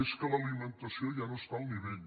és que l’alimentació ja no està al nivell